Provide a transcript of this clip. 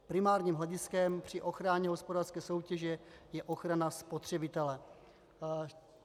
Primárním hlediskem při ochraně hospodářské soutěže je ochrana spotřebitele.